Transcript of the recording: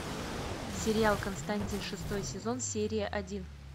сериал константин шестой сезон серия один